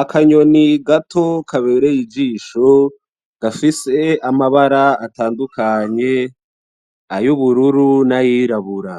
Akanyoni gato kabereye ijisho gafise amabara atadukanye, ay'ubururu nay'irabura,